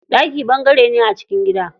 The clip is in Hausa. Ɗaki ɓangare ne a cikin gida.